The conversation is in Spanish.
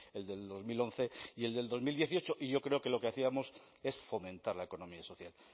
el del dos mil once y el del dos mil dieciocho y yo creo que lo que hacíamos es fomentar la economía social